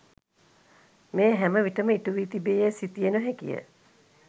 මෙය හැම විටම ඉටුවී තිබේ යැයි සිතිය නොහැකිය.